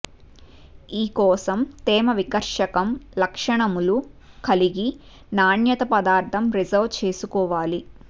ఈ కోసం తేమ వికర్షకం లక్షణములు కలిగి నాణ్యత పదార్థం రిజర్వ్ చేసుకోవాలి